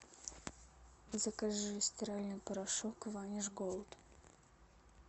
закажи стиральный порошок ваниш голд